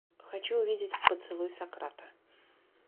хочу увидеть поцелуй сократа